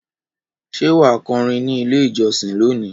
Ṣé wà á kọrin ní Ilé-ìjọsìn lónìí?